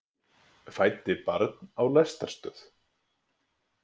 Fæddi barn á lestarstöð